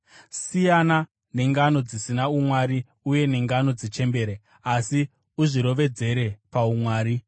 Siyana nengano dzisina umwari uye nengano dzechembere; asi uzvirovedzere paumwari.